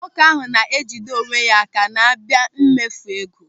Nwoke ahụ na-ejide onwe ya áká ma abịa n'emefu ego.